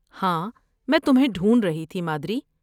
ہاں، میں تمہیں ڈھونڈ رہی تھی، مادری۔